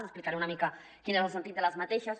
explicaré una mica quin era el sentit d’aquestes